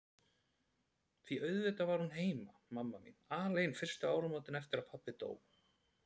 Því auðvitað var hún heima, mamma mín, alein fyrstu áramótin eftir að pabbi dó.